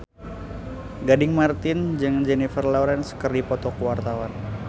Gading Marten jeung Jennifer Lawrence keur dipoto ku wartawan